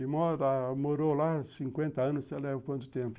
E mora morou lá cinquenta anos, você leva quanto tempo?